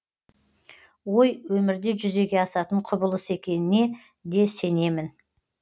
ой өмірде жүзеге асатын құбылыс екеніне де сенемін